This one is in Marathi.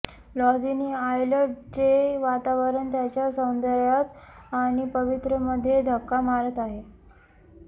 लॉझीनी आयलँडचे वातावरण त्याच्या सौंदर्यात आणि पवित्रतेमध्ये धक्का मारत आहे